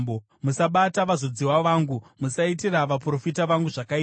“Musabata vazodziwa vangu; musaitira vaprofita vangu zvakaipa.”